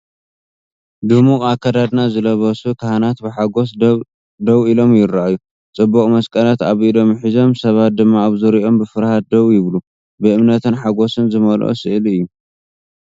ድሙቕ ኣከዳድና ዝለበሱ ካህናት ብሓጎስ ደው ኢሎም ይረኣዩ። ጽቡቕ መስቀላት ኣብ ኢዶም ሒዞም፡ ሰባት ድማ ኣብ ዙርያኦም ብፍርሃት ደው ይብሉ። ብእምነትን ሓጎስን ዝመልአ ስእሊ እዩ።